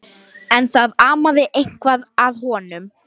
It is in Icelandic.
Þess vegna var hún kölluð Lína stutta.